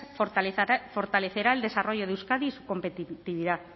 fortalecerá el desarrollo de euskadi y su competitividad